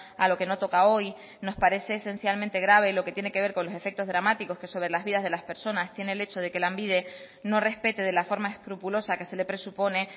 a lo que no toca hoy nos parece esencialmente grave lo que tiene que ver con los efectos dramáticos que sobre las vidas de las personas tiene el hecho de que lanbide no respete de la forma escrupulosa que se le presupone